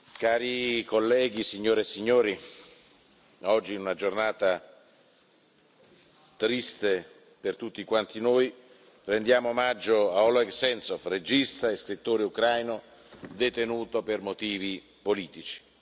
Cari colleghi, signore e signori, oggi, in una giornata triste per tutti noi, rendiamo omaggio a Oleg Sentsov, regista e scrittore ucraino detenuto per motivi politici.